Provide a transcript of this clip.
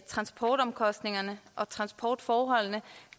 at transportomkostningerne og transportforholdene